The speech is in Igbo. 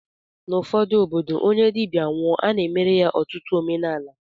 N'ụfọdụ obodo, onye dibịa nwụọ, a na-emere ya ọtụtụ omenala